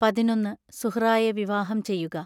പതിനൊന്ന് സുഹ്റായെ വിവാഹം ചെയ്യുക.